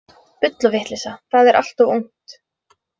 Bull og vitleysa, það er allt of ungt.